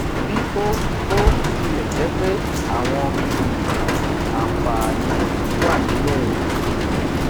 bí ó ó tilè jé pé àwọn um àǹfààní wà níbè